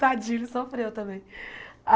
Tadinho, ele sofreu também.